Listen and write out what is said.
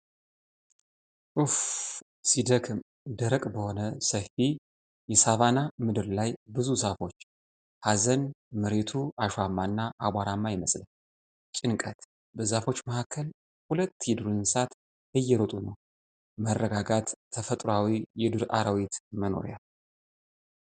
እፍፍፍ ሲደክም! ደረቅ በሆነ ሰፊ የሳቫና ምድር ላይ ብዙ ዛፎች። ሀዘን። መሬቱ አሸዋማና አቧራማ ይመስላል። ጭንቀት። በዛፎች መካከል ሁለት የዱር እንስሳት እየሮጡ ነው። መረጋጋት። ተፈጥሮአዊ የዱር አራዊት መኖሪያ።